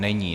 Není.